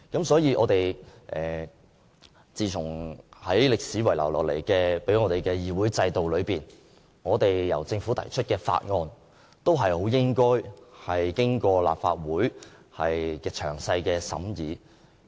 所以，根據歷史遺留給我們的議會制度，由政府提出的法案均應經過立法會詳細審議。